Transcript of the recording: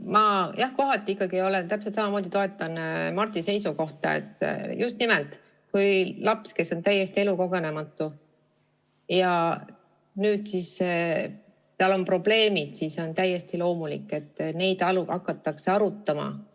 Ma, jah, kohati ikkagi täpselt samamoodi toetan Mardi seisukohta, et just nimelt, kui on laps, kes on täiesti elukogenematu, ja tal on vaimsed probleemid, siis on täiesti loomulik, et neid hakatakse arutama.